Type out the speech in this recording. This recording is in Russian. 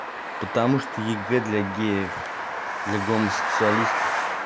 потому что егэ для геев для гомосексуалистов